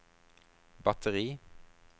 batteri